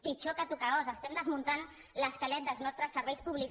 pitjor que tocar os estem desmuntant l’esquelet dels nostres serveis públics